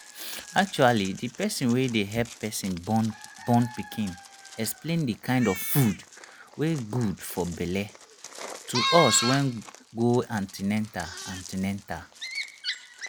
actually the person wey dey help person born born pikin explain the kind of food wey good for belle to us wen go an ten atal an ten atal